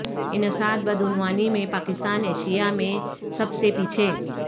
انسداد بدعنوانی میں پاکستان ایشیا میں سب سے پیچھے